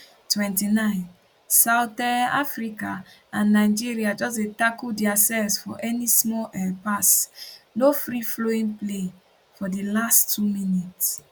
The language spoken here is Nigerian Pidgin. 29 south um africa and nigeria just dey tackle diasefs for any small um pass no free flowing play for di last two minutes